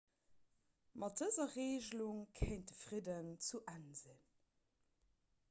mat dëser regelung kéint de fridden zu enn sinn